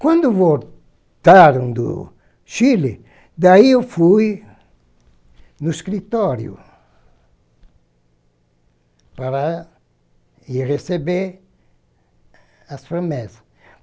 Quando voltaram do Chile, daí eu fui no escritório para receber as promessas.